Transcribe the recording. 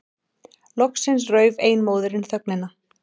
Loksins rauf ein móðirin þögnina.